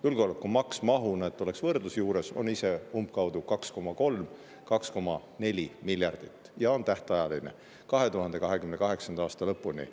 Julgeolekumaksu maht – et oleks võrdlus juures – on umbkaudu 2,3–2,4 miljardit ja see maks on tähtajaline, 2028. aasta lõpuni.